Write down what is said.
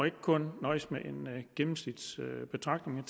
ikke kun nøjes med en gennemsnitsbetragtning